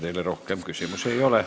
Teile rohkem küsimusi ei ole.